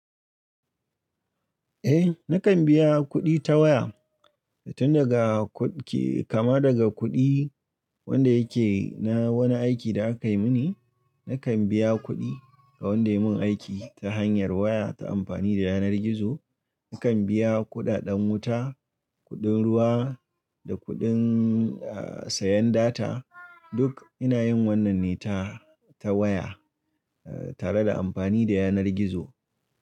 Eh nakan biya kuɗi ta waya tun daga kudi kama daga kuɗi wanda yake na wani aiki da aka yi mini. Nakan biya kuɗi ga wanda ya mun aiki ta hanyar waya ta amfani da yanar gizo. Nakan biya kuɗaɗen wuta, kuɗin ruwa da kuɗin sayan data duk ina yin wannan ne ta ta waya tare da amfani da yanar gizo.